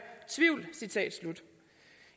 tvivl